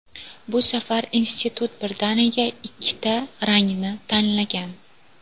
Bu safar institut birdaniga ikkita rangni tanlagan.